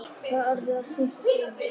Það var orðið of seint að segja nokkuð.